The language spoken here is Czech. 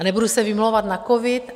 A nebudu se vymlouvat na covid.